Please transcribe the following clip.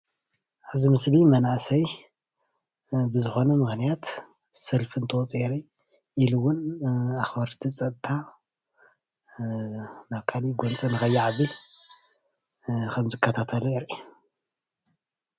እዚ ምስሊ መናእሰዬ ብዝኾነ ምኽንያት ሰልፉ እንትወፁ የርኢ። ኢሉውን ኣኽበርቲ ፀጥታ ናብ ካሊእ ጎንፂ ንኸይዓቢ ኸምዝከታተሉ የርኢ።